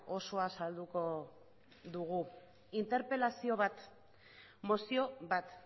osoa salduko dugu interpelazio bat mozio bat